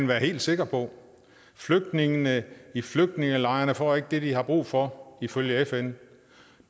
være helt sikker på flygtningene i flygtningelejrene får ikke det de har brug for ifølge fn